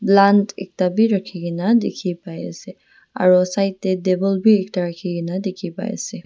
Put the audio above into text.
plant ekta bi raki kina tiki bai ase aro side dae table bi ekta raki kina tiki bai ase.